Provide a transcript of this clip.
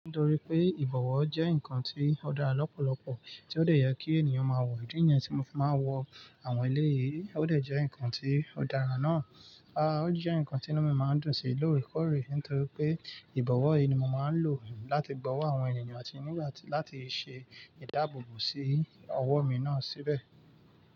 Nítorí pé ìbọ̀wọ́ jẹ́ ǹkan tí ó dára lọ́pọ̀lọpọ̀ tí ó dẹ̀ yẹ kí ènìyàn máa wọ̀, ìdí nìyẹn tí mo fi máa ń wọ àwọn ẹlẹ́yìí ó dẹ̀ jẹ́ ǹkan tí ó dára náà. Aà! Ó jẹ́ ǹkan tí inú mi máa ń dùn sí lóre korè, nítorí pé ìbọ̀wọ́ yí ni mo máa ń lò láti gbọ́wọ́ àwọn ènìyàn àti nígbà tí láti ṣe ìdáàbòbò sí ọwọ́ mi náà síbẹ̀